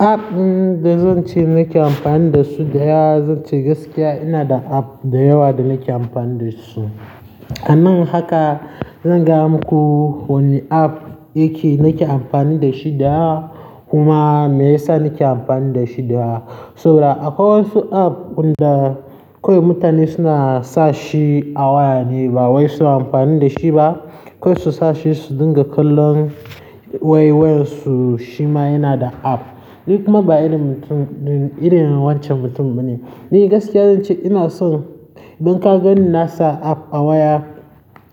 App ɗin da zan ce nake amfani da su da yawa, zan ce gaskiya ina da app da yawa da nake amfani da su. A nan haka zan gaya muku wani app nake amfani da shi da yawa kuma me yasa nake amfani da shi da. So da akwai wasu app wanda kawai mutane suna sa shi a waya ne ba wai suna amfani da shi ba. Akwai su sa shi su dinga kallon wai wayar su shima yana da app. Duk kuma ba irin wancan mutum bane. Ni gaskiya zan ce ina son don ka gani na sa app a waya,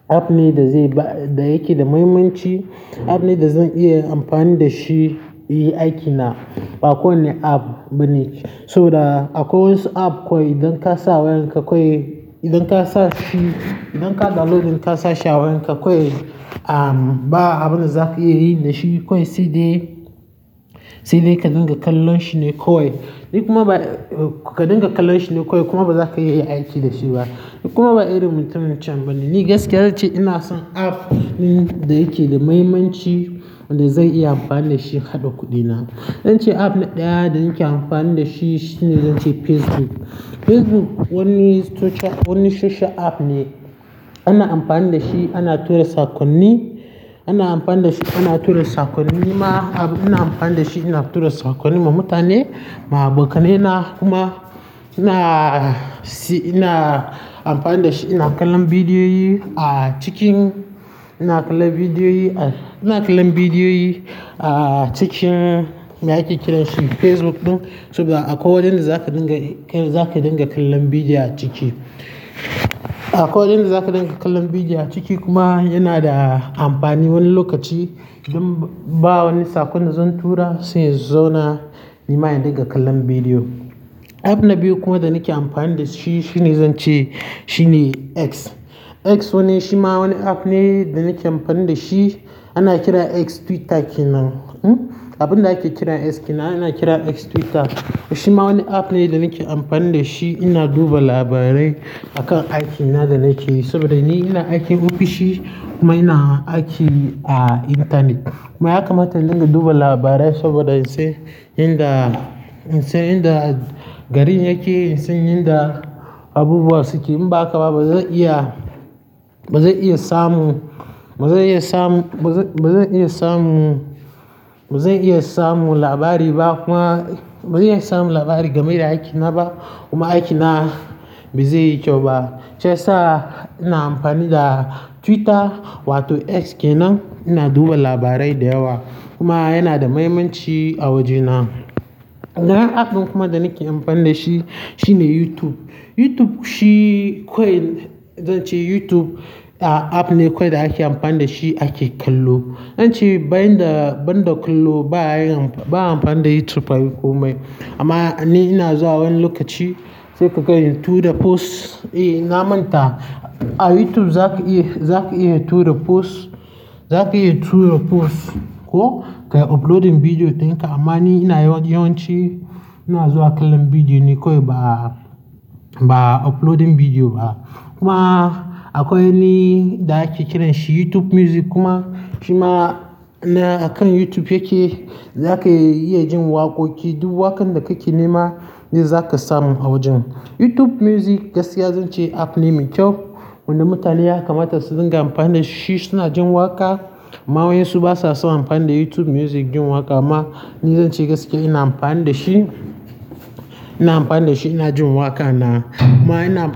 app ne da yake da muhimmanci, app ne da zan iya amfani da shi yin aiki na ba kowane app bane. So da akwai wasu app kawai idan ka sa shi, idan ka downloadin ka sa shi a wayar ka kawai ba abin da za ka iya yi da shi kawai sai dai sai dai ka dinga kallon shi ne kawai. Duk kuma ba ka dinga kallon shi ne kawai kuma ba za ka iya aiki da shi ba. Duk kuma ba irin mutumin wancan bane. Ni gaskiya zan ce ina son app ɗin da yake da muhimmanci wanda zan iya amfani da shi haɓa kuɗina. Zan ce app na ɗaya da nake amfani da shi shine zan ce Facebook. Facebook wani social app ne. Ana amfani da shi ana tura sakonni, ana amfani da shi ana tura sakonni ma, ana amfani da shi ana tura sakonni ma mutane ma abokaine na. Kuma ina si-- ina amfani da shi ina kallon bidiyoyi a cikin, ina kallon bidiyoyi, ina kallon bidiyoyi a cikin me ake kiran shi Facebook ɗin. So da akwai wurin da za ka dinga, za ka dinga kallon bidiyo a ciki. Akwai wurin da za ka dinga kallon bidiyo a ciki kuma yana da amfani wani lokaci idan ba wani sakon da zan tura sai zan zo na, ni ma in dinga kallon bidiyo. App na biyu kuma da nake amfani da shi shine zan ce shine X. X wani shima wani app ne da nake amfani da shi. Ana kira X Twitter kenan. Abin da ake kira X kenan ana kira X Twitter. Shima wani app ne da nake amfani da shi. Ina duba labarai a kan aikin da nake yi saboda ni ina aikin ofishi kuma ina aiki a intanet. Ma haka mata dinga duba labarai saboda in sai inda, in sai inda garin yake, in sai inda abubuwa suke. In ba haka ba bazan iya, bazan iya samu, bazan iya samu, bazan iya samu, bazan iya samu labari ba kuma bazan iya samu labari game da aikin na ba kuma aikin na bai zai yi kyau ba. Shi yasa ina amfani da Twitter wato X kenan, ina duba labarai da yawa kuma yana da muhimmanci a wajena. Dayan app ɗin kuma da nake amfani da shi shine YouTube. YouTube shi kawai zan ce YouTube app ne kawai da ake amfani da shi ake kallo. Zan ce ban da, ban da kallo ba ɗaya, ba na amfani da YouTube a yikome. Amma ni ina zuwa wani lokaci sai ka ga ina tura posts. Eh, na manta a YouTube za ka iya, za ka iya tura posts, za ka iya tura posts ko ka yi uploading bidiyo ɗin ka. Amma ni ina yawanci ina zuwa kallon bidiyo ne kawai ba, ba uploading bidiyo ba. Kuma akwai wani da ake kiran shi YouTube Music kuma shima na akan YouTube yake. Za ka iya jin waƙoƙi, duk waƙan da ka ke nema ne za ka samu a wajen. YouTube Music gaskiya zan ce app ne mai kyau wanda mutane ya kamata su dinga amfani da shi. Su na jin waƙa ma wai su basa son amfani da YouTube Music jin waƙa amma ni zan ce gaskiya ina amfani da shi, ina amfani da shi ina jin waƙa na. Kuma ina.